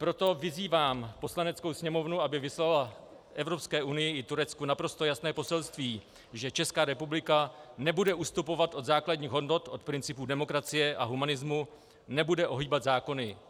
Proto vyzývám Poslaneckou sněmovnu, aby vyslala Evropské unii i Turecku naprosto jasné poselství, že Česká republika nebude ustupovat od základních hodnot, od principů demokracie a humanismu, nebude ohýbat zákony.